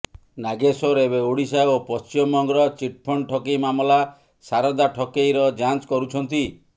ନାଗେଶ୍ୱର ଏବେ ଓଡିଶା ଓ ପଶ୍ଚିମବଙ୍ଗର ଚିଟଫଣ୍ଡ ଠକେଇ ମାମଲା ସାରଦା ଠକେଇର ଯାଞ୍ଚ କରୁଛନ୍ତି